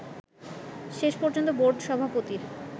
শেষ পর্যন্ত বোর্ড সভাপতির